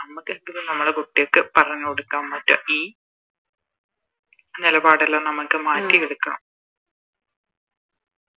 നമ്മക്കെങ്കിലും നമ്മുടെ കുട്ടിയക്ക് പറഞ്ഞ് കൊടുക്കാൻ പറ്റ ഈ നിലപാടെല്ലാം നമുക്ക് മാറ്റിയെടുക്കണം